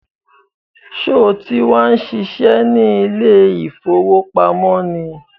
Sọ ti wá ń ṣiṣẹ́ ní ilé ìfowópamọ́ ni?